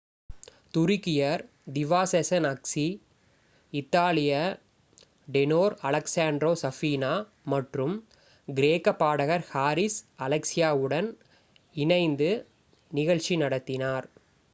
துருக்கியர் diva Sezen Aksu இத்தாலிய tenor Alessandro Safina மற்றும் கிரேக்க பாடகர் ஹாரிஸ் அலெக்ஸியோவுடன் இணைந்து நிகழ்ச்சி நடத்தினார்